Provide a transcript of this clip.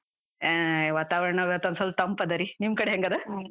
ಹಾ, ವಾತಾವರ್ಣ ಇವತ್ ಒಂದ್ ಸ್ವಲ್ಪ ತಂಪದ ರೀ, ನಿಮ್ ಕಡೆ ಹೆಂಗದ?